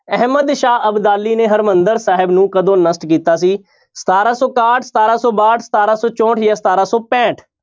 ਅਹਿਮਦ ਸ਼ਾਹ ਅਬਦਾਲੀ ਨੇ ਹਰਿਮੰਦਰ ਸਾਹਿਬ ਨੂੰ ਕਦੋਂ ਨਸ਼ਟ ਕੀਤਾ ਸੀ ਸਤਾਰਾਂ ਸੌ ਇਕਾਹਠ, ਸਤਾਰਾਂਂ ਸੌ ਬਾਹਠ, ਸਤਾਰਾਂ ਸੌ ਚੋਂਹਠ ਜਾਂ ਸਤਾਰਾਂ ਸੌ ਪੈਂਹਠ।